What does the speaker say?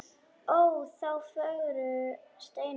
Ó þá fögru steina.